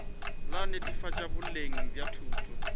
la netefatšo boleng bja thuto